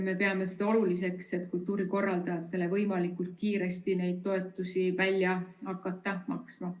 Me peame oluliseks, et kultuurikorraldajatele võimalikult kiiresti neid toetusi välja hakata maksma.